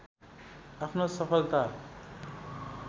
आफ्नो सफलता